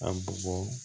A bɔgɔ